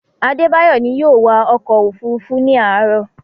Adebayo ni yóò wa ọkọ̀-òfurufú ní àárọ̀.